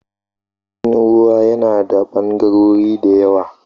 Jirgin ruwa yana da ɓangarori da yawa